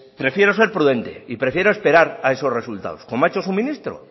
prefiero ser prudente y prefiero esperar a esos resultados como ha hecho su ministro